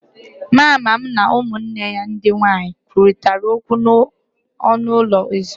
Mama m na ụmụnne ya ndị nwanyị kwurịtara okwu n'ọnụ ụlọ ezumike